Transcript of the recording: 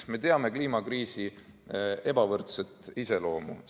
Me teame kliimakriisi ebavõrdset iseloomu.